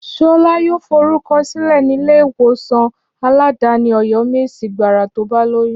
Ṣọlá yóò lọ forúkọ sílẹ̀ nílé ìwòsàn aládàáni Ọ̀yọ́mèsì gbàrà tó bá lóyún